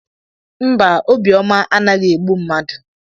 Mba, obi ọma anaghị egbu mmadụ